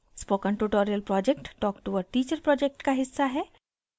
spoken tutorial project talk to a teacher project का हिस्सा है